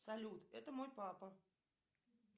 салют это мой папа